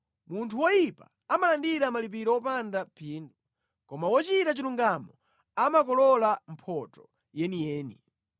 Munthu woyipa amalandira malipiro wopanda phindu, koma wochita chilungamo amakolola mphotho yeniyeni.